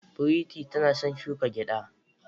Pretty tana son shuka gyada.